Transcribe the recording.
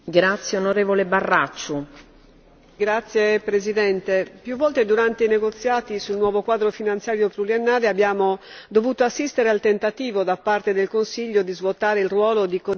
Signora Presidente, più volte durante i negoziati sul nuovo quadro finanziario pluriennale abbiamo dovuto assistere al tentativo da parte del Consiglio di svuotare il ruolo di codecisione di questo Parlamento.